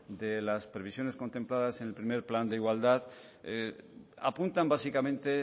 de las previsiones contempladas en el primero plan de igualdad apuntan básicamente